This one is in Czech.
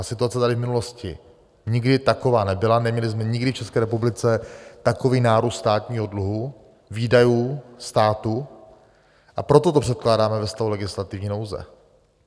Ta situace tady v minulosti nikdy taková nebyla, neměli jsme nikdy v České republice takový nárůst státního dluhu, výdajů státu, a proto to předkládáme ve stavu legislativní nouze.